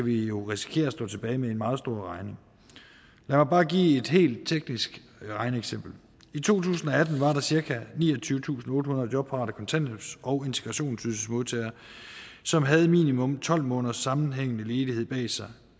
vi jo risikere at stå tilbage med en meget stor regning lad mig bare give et helt teknisk regneeksempel i to tusind og atten var der cirka niogtyvetusinde og ottehundrede jobparate kontanthjælps og integrationsydelsesmodtagere som havde minimum tolv måneders sammenhængende ledighed bag sig